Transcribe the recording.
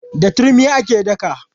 Da turmi ake daka.